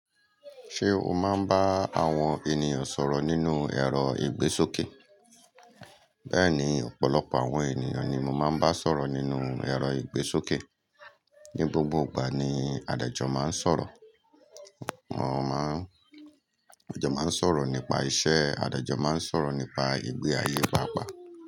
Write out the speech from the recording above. Ṣé o máa ń bá àwọn ènìyàn sọ̀rọ̀ nínú ẹ̀rọ ìgbésókè? Bẹ́ẹ̀ni, ọ̀pọ̀lọpọ̀ àwọn ènìyàn ni mo máa ń bá sọ̀rọ̀ nínú ẹ̀rọ ìgbésókè. Ni gbogbo ìgbà ni adájọ́ máa ń sọ̀rọ̀. Wọ́n máa ń, adájọ́ máa ń sọ̀rọ̀ nípa iṣẹ́, adájọ́ máa ń sọ̀rọ̀ nípa ìgbé ayé pápá.